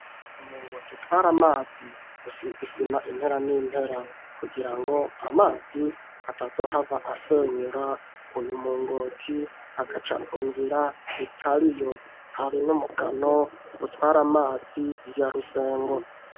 Umuringoti utwara amazi usize isima impera n'impera kugira ngo amazi atazo hava asenyura uyu muringoti agaca nunzira itariyo hari n'umukano utwara amazi ya rusengo.